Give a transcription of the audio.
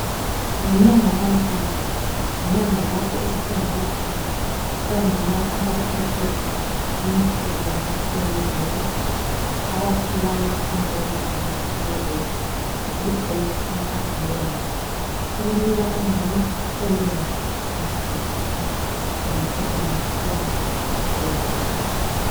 Ngenyanga kamfumfu yinyanga lapho esikhumbila khona omama abaphethwe yimvukuzane yebele abasilayo imvukuzane yebele yibreast cancer awareness ukunika omama ulwazi nge breast cancer ngomkhuhlane wemvukuzane ye bele,